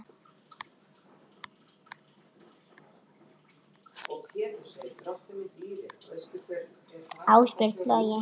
Ásbjörn Logi.